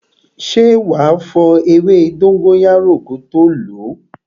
Ṣé wá fo ewé dóngóyárò ko tó lo?